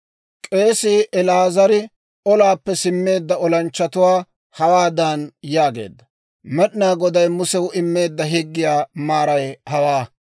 K'eesii El"aazari olaappe simmeedda olanchchatuwaa hawaadan yaageedda; «Med'inaa Goday Musew immeedda higgiyaa maaray hawaa: